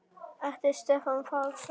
eftir Stefán Pálsson